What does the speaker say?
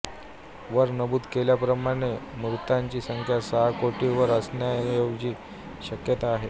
वर नमूद केल्याप्रमाणे मृतांची संख्या सहा कोटीवर असण्याची शक्यता आहे